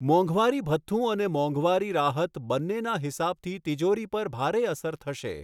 મોંઘવારી ભથ્થું અને મોંઘવારી રાહત બંનેના હિસાબથી તિજોરી પર ભારે અસર થશે.